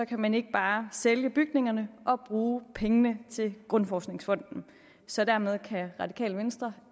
kan man ikke bare sælge bygningerne og bruge pengene til grundforskningsfonden så dermed kan radikale venstre